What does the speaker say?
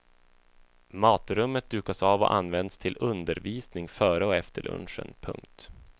Matrummet dukas av och används till undervisning före och efter lunchen. punkt